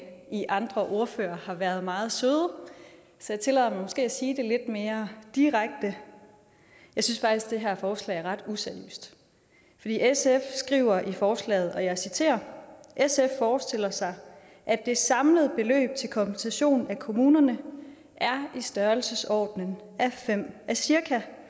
i andre ordførere har været meget søde så jeg tillader mig måske at sige det lidt mere direkte jeg synes faktisk at det her forslag er ret useriøst sf skriver i forslaget og jeg citerer sf forestiller sig at det samlede beløb til kompensation af kommunerne er i størrelsesordenen cirka